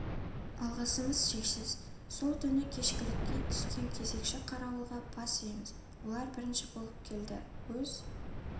алғысымыз шексіз сол түні кезекшілікке түскен кезекші қарауылға бас иеміз олар бірінші болып келді өз